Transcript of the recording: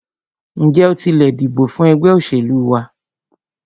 Ǹjẹ́ o tilẹ̀ dìbò fún ẹgbẹ́ òṣèlú wa?